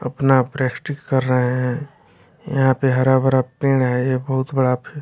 अपना प्रेस्टिक कर रहे हैं यहां पे हरा भरा पेड़ है ये बहुत बड़ा--